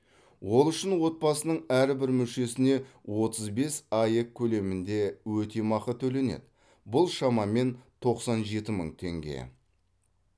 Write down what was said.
ол үшін отбасының әрбір мүшесіне отыз бес аек көлемінде өтемақы төленеді бұл шамамен тоқсан жеті мың теңге